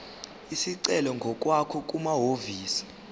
isicelo ngokwakho kumahhovisi